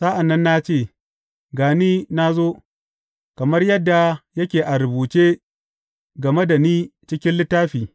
Sa’an nan na ce, Ga ni, na zo, kamar yadda yake a rubuce game da ni cikin littafi.